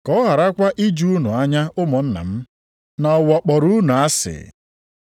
Ka ọ gharakwa iju unu anya ụmụnna m, na ụwa kpọrọ unu asị.